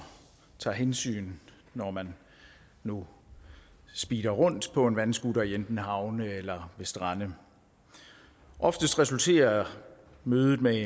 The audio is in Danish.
tager hensyn når man nu speeder rundt på en vandscooter enten i havne eller ved strande oftest resulterer mødet med